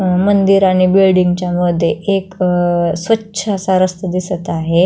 अ मंदिर आणि बिल्डिंगच्या मधे एक अ स्वच्छ असा रस्ता दिसत आहे.